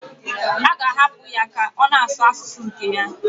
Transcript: A ga-ahapụ ya ka ọ na-asụ asụsụ nke ya?